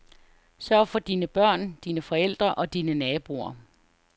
Sørg for dine børn, dine forældre og dine naboer.